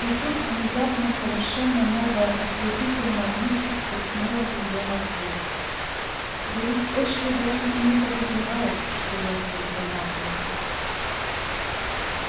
и тут внезапно совершенно новая ослепительная мысль сверкнула в её мозгу да ведь эшли даже и не подозревает что я влюблена в него